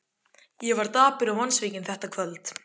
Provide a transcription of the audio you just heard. Ég var dapur og vonsvikinn þetta kvöld.